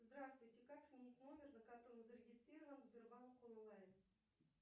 здравствуйте как сменить номер на котором зарегистрирован сбербанк онлайн